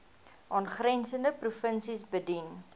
aangrensende provinsies bedien